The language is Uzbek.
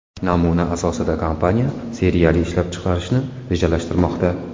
Namuna asosida kompaniya seriyali ishlab chiqarishni rejalashtirmoqda.